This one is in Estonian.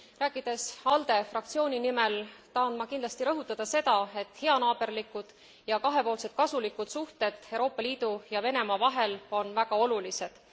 Rääkides ALDE fraktsiooni nimel, tahan ma kindlasti rõhutada seda, et heanaaberlikud ja kahepoolselt kasulikud suhted Euroopa Liidu ja Venemaa vahel on väga olulised.